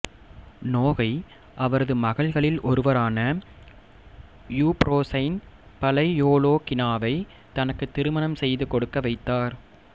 Nogai அவரது மகள்களில் ஒருவரான யூப்ரோசைன் பலையோலோகினாவை தனக்கு திருமணம் செய்து கொடுக்க வைத்தார்